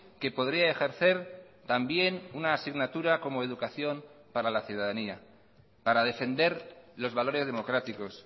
que podría ejercer también una asignatura como educación para la ciudadanía para defender los valores democráticos